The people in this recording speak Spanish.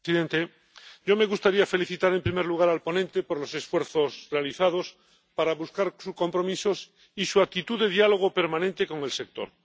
Señor presidente, me gustaría felicitar en primer lugar al ponente por los esfuerzos realizados para buscar compromisos y por su actitud de diálogo permanente con el sector.